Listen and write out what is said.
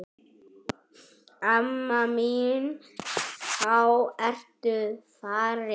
Amma mín þá ertu farin.